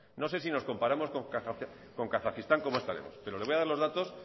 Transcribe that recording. no sé si nos comparamos con kazajistán como esta vez pero le voy a dar los datos